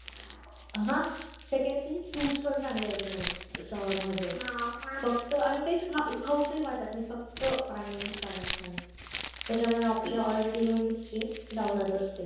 आग second thing fruits चांगले येत नाही summer मध्ये फक्त ते खाऊ से वाटत नाही फक्त पाणी पाणी पाणी त्या मुळे already आपली immune system down असते